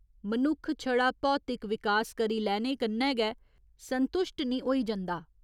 मनुक्ख छड़ा भौतिक विकास करी लैने कन्नै गै संतुश्ट निं होई जंदा।